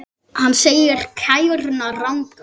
Hann segir kæruna ranga.